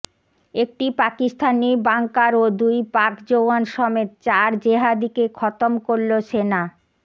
একটি পাকিস্তানি বাঙ্কার ও দুই পাক জওয়ান সমেত চার জেহাদিকে খতম করল সেনা